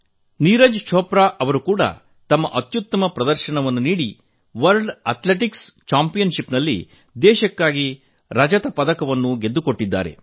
ನೀರಜ್ ಛೋಪ್ರಾ ಅವರು ಕೂಡಾ ತಮ್ಮ ಅತ್ಯುತ್ತಮ ಪ್ರದರ್ಶನ ನೀಡಿ ವಿಶ್ವ ಅಥ್ಲೆಟಿಕ್ಸ್ ಚಾಂಪಿಯನ್ ಷಿಪ್ ನಲ್ಲಿ ದೇಶಕ್ಕಾಗಿ ರಜತ ಪದಕ ಗೆದ್ದುರು